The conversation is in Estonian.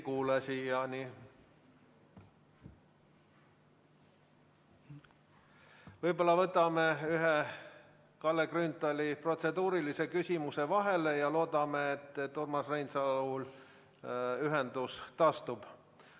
Võib-olla võtame ühe Kalle Grünthali protseduurilise küsimuse vahele ja loodame, et Urmas Reinsalul ühendus taastub.